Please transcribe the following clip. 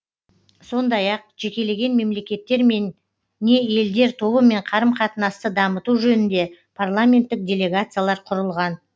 сондай ақ жекелеген мемлекеттермен не елдер тобымен қарым қатынасты дамыту жөнінде парламенттік делегациялар құрылған